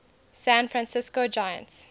san francisco giants